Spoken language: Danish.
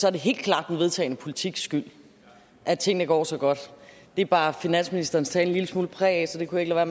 er det helt klart den vedtagne politiks skyld at tingene går så godt det bar finansministerens tale en lille smule præg af så det kunne jeg